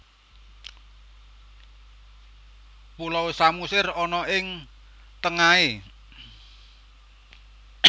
Pulau Samosir ana ing tengahe